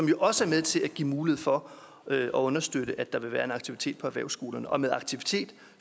jo også er med til at give mulighed for at understøtte at der vil være en aktivitet på erhvervsskolerne og med aktivitet